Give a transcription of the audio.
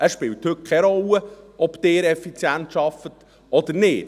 Es spielt heute keine Rolle, ob man effizient arbeitet oder nicht.